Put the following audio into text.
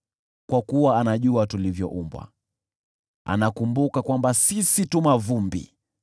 kwa kuwa anajua tulivyoumbwa, anakumbuka kwamba sisi tu mavumbi.